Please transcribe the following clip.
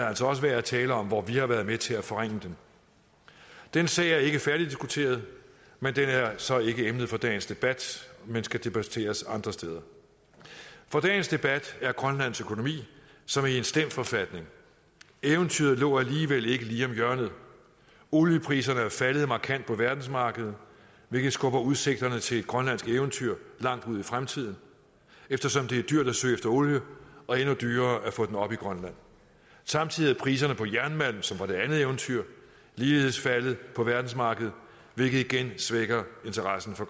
altså også værd at tale om hvor vi har været med til at forringe den den sag er ikke færdigdiskuteret men den er så ikke emnet for dagens debat men skal debatteres andre steder for dagens debat er grønlands økonomi som er i en slem forfatning eventyret lå alligevel ikke lige om hjørnet oliepriserne er faldet markant på verdensmarkedet hvilket skubber udsigterne til et grønlandsk eventyr langt ud i fremtiden eftersom det er dyrt at søge efter olie og endnu dyrere at få den op i grønland samtidig er priserne på jernmalm som var det andet eventyr ligeledes faldet på verdensmarkedet hvilket igen svækker interessen for